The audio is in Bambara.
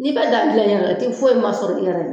Ni ka daa gilan ɲɛna i ti foyi ma sɔrɔ i yɛrɛ ye.